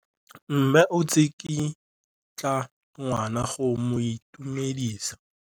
Mme o tsikitla ngwana go mo itumedisa.